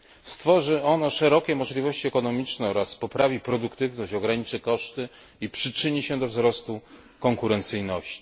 Stworzy ono szerokie możliwości ekonomiczne oraz poprawi produktywność, ograniczy koszty i przyczyni się do wzrostu konkurencyjności.